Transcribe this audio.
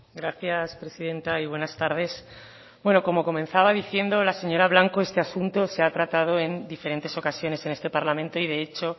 gracias presidenta y buenas tardes como comenzaba diciendo la señora blanco este asunto se ha tratado en diferentes ocasiones en este parlamento y de hecho